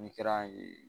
N'i kɛra yen